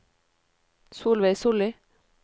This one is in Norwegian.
Solveig Sollie